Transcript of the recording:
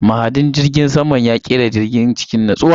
Mahadin jirgin saman ya kera jirgin cikin natsuwa.